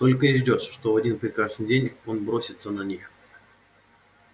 только и ждёшь что в один прекрасный день он бросится на них